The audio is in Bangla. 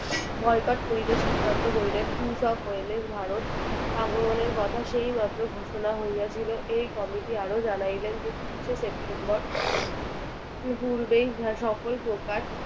boycott করিতে সিদ্ধান্ত করিলেন ভারত আগমনের কথা সেই মাত্র ঘোষণা হয়েছিল এই committee আরো জানাইলেন যে এিশ এ সেপ্টেম্বর পূর্বেই সকল প্রকার